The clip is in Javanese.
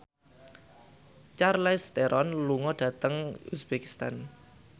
Charlize Theron lunga dhateng uzbekistan